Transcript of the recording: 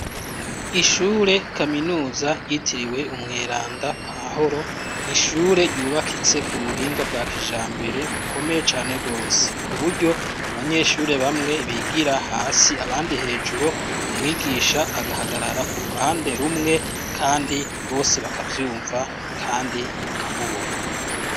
Ishure kaminuza ryitiriwe Umweranda Pahuro, ni ishure ryubakitse ku buhinga bwa kijambere bukomeye gose. Ku buryo abanyeshure bamwe bigira hasi, abandi hejuru, umwigisha agahagarara ku ruhande rumwe, kandi bose bakavyumva, kandi bakamubona.